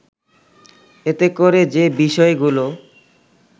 এতে করে যে বিষয়গুলো